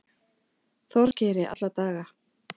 Þorgeiri alla daga.